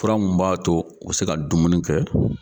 Fura mun b'a to u be se ka dumuni kɛ